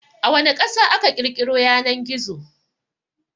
A wana Ƙasa aka ƘirƘiro Yanan-gizo?